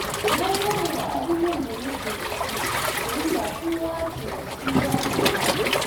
Na gode da abubuwan da nake da su, domin ba kowa ke da su ba a rayuwa.